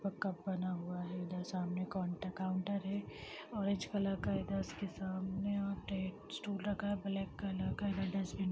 इसके ऊपर एक कप बना हुआ है इधर सामने एक का-काउन्टर बना है ऑरेंज कलर का इसके सामने और एक स्टूल रखा है ब्लैक कलर का --